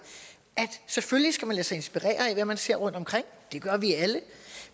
at selvfølgelig skal man lade sig inspirere af hvad man ser rundtomkring det gør vi alle